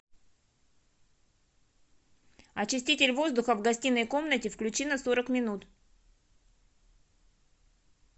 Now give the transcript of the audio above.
очиститель воздуха в гостиной комнате включи на сорок минут